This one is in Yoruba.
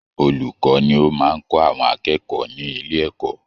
Olùkọ́ ni ó máa ń kọ́ àwọn akẹkọ̀ọ́ ní ilé ẹ̀kọ́